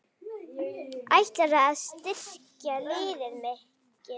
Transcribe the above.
Ætlarðu að styrkja liðið mikið?